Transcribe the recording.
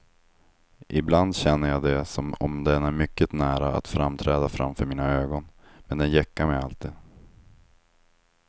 Ibland känner jag det som om den är mycket nära att framträda framför mina ögon, men den gäckar mig alltid.